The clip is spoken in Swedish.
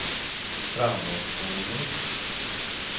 framåtspolning